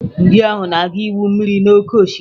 Ndị ahụ na-aga igwu mmiri n'oké osimiri.